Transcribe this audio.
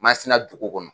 Masina dugu kɔnɔ